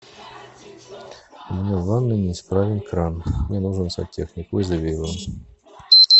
у меня в ванной неисправен кран мне нужен сантехник вызови его